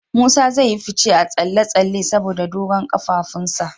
Musa zai yi fice a tsalle-tsalle saboda dogon kafafunsa.